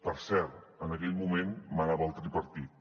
per cert en aquell moment manava el tripartit